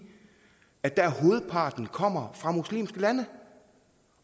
at der kommer fra muslimske lande